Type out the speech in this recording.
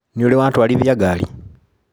Nĩũrĩ watwarithia ngari?